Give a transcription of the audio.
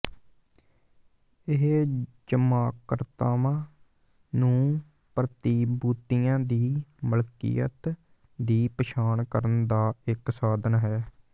ਇਹ ਜਮ੍ਹਾਂਕਰਤਾਵਾਂ ਨੂੰ ਪ੍ਰਤੀਭੂਤੀਆਂ ਦੀ ਮਲਕੀਅਤ ਦੀ ਪਛਾਣ ਕਰਨ ਦਾ ਇੱਕ ਸਾਧਨ ਹੈ